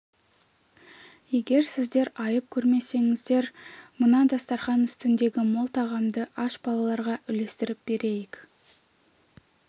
егер сіздер айып көрмесеңіздер мына дастарқан үстіндегі мол тағамды аш балаларға үлестіріп берейік